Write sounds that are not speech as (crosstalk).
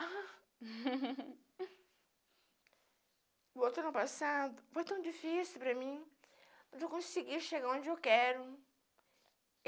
(laughs) Voltando ao passado foi tão difícil para mim de conseguir chegar onde eu quero.